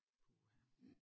Puha